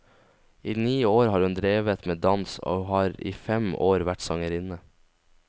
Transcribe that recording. I ni år har hun drevet med dans, og har i fem år vært sangerinne.